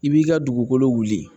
I b'i ka dugukolo wuli